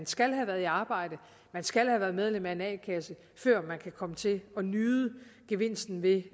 skal have været i arbejde skal have været medlem af en a kasse før man kan komme til at nyde gevinsten ved